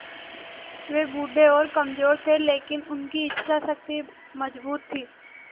वे बूढ़े और कमज़ोर थे लेकिन उनकी इच्छा शक्ति मज़बूत थी